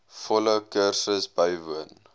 volle kursus bywoon